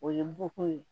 O ye muguko ye